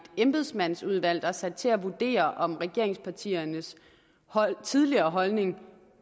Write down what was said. embedsmandsudvalg der er sat til at vurdere om regeringspartiernes tidligere holdning